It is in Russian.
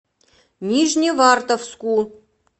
нижневартовску